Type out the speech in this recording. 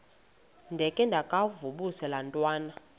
ndengakuvaubuse laa ntwana